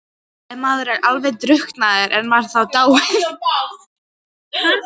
Ef maður er alveg drukknaður, er maður þá dáinn?